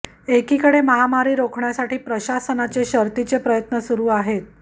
एकीकडे महामारी रोखण्यासाठी प्रशासनाचे शर्तीचे प्रयत्न सुरु आहेत